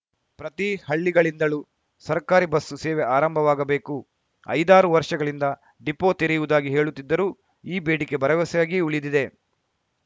ಪ್ರತಿ ಹಳ್ಳಿಗಳಿಂದಳೂ ಸರ್ಕಾರಿ ಬಸ್‌ ಸೇವೆ ಆರಂಭವಾಗಬೇಕು ಐದಾರು ವರ್ಷಗಳಿಂದ ಡಿಪೋ ತೆರೆಯುವುದಾಗಿ ಹೇಳುತ್ತಿದ್ದರೂ ಈ ಬೇಡಿಕೆ ಭರವಸೆಯಾಗಿಯೇ ಉಳಿದಿದೆ